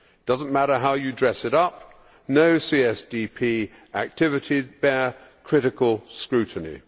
It does not matter how you dress it up no CSDP activities bear critical scrutiny.